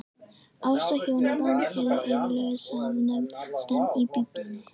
Ást og hjónaband eru iðulega samofin stef í Biblíunni.